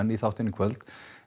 í þáttinn í kvöld